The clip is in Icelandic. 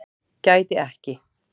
Gæti ekki